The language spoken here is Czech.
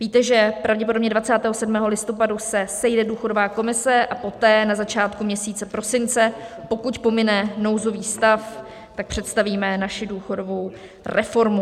Víte, že pravděpodobně 27. listopadu se sejde důchodová komise, a poté, na začátku měsíce prosince, pokud pomine nouzový stav, tak představíme naši důchodovou reformu.